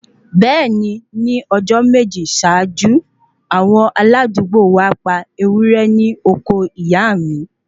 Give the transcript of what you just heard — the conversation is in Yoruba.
Bẹẹni, ni Ọjọ meji ṣaaju, awon aladuugbo wa pa ẹwúrẹ́ ní oko ìyàmi